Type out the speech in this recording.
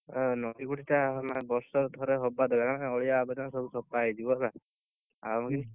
ନଈବଢିଟା ମାନେ ବର୍ଷରେ ଥରେ ହବା ଦରକାର, କାଇଁକି ନା ଅଳିଆ ଆବର୍ଜନା ସବୁ ସଫା ହେଇଯିବ, ହେଲା!